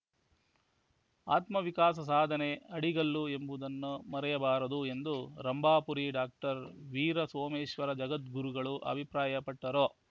ಆತ್ಮ ವಿಕಾಸ ಸಾಧನೆ ಅಡಿಗಲ್ಲು ಎಂಬುದನ್ನು ಮರೆಯಬಾರದು ಎಂದು ರಂಭಾಪುರಿ ಡಾಕ್ಟರ್ ವೀರಸೋಮೇಶ್ವರ ಜಗದ್ಗುರುಗಳು ಅಭಿಪ್ರಾಯಪಟ್ಟರು